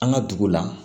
An ka dugu la